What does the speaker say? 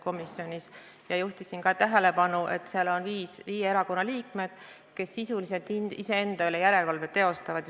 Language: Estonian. Ma juhtisin tähelepanu, et seal on viie erakonna liikmed, kes sisuliselt iseenda üle järelevalvet teostavad.